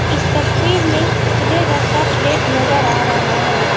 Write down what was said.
इस तस्वीर में उजले रंग का प्लेट नजर आ रहा है।